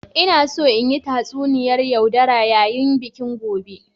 Ina so in yi tatsuniyar yaudara yayin bikin gobe.